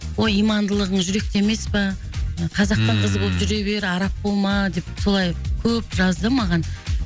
ой имандылығың жүректе емес пе қазақтың ммм қызы болып жүре бер араб болма деп солай көп жазды маған